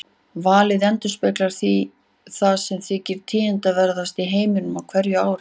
Valið endurspeglar því það sem þykir tíðindaverðast í heiminum á hverju ári.